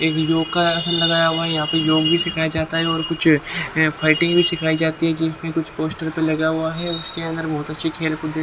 एक योगा आसन लगाया हुआ है यहाँ प योग भी सिखाया जाता है और कुछ फाइटिंग भी सिखाई जाती है जिसमें कुछ पोस्टर पर लगा हुआ है उसके अंदर बहुत अच्छे खेल कूद--